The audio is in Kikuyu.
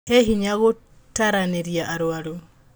He hinya gũtaranĩria arwaru